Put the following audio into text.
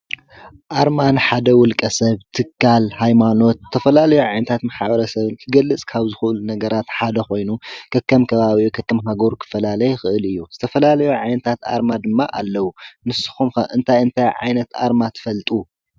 ኣርማ ንሓደ ውልቀ ሰብ ትካል ሃይማኖት ዝተፈላለዮ ዓይነታት ማሕበረ ሰብ ክገልፅ ካብ ዝኽእሉ ነገራት ሓደ ኾይኑ ከከም ከባብኡ ከከምሃገሩ ክፈላለ ይኽእል እዩ፡፡ ዝተፈላለዩ ዓይነታት ኣርማ ድማ ኣለዉ፡፡ ንስኹም ከ እንታይ እንታይ ዓይነት ኣርማ ትፈልጡ?